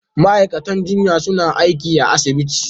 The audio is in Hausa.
Ma'aikatan jinya suna aiki a asibiti.